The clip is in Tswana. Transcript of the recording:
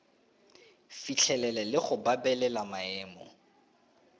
fitlhelele le go babalela maemo